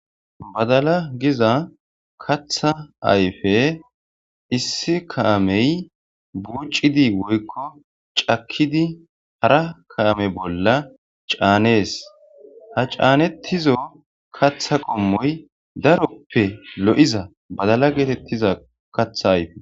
Badala giza katha ayfe issi kaamey buucidi woykko cakkidi hara kaame bolla caanees ha caanettizo katha qommoy daroppe lo7iza badala geetettiza katha ayfe.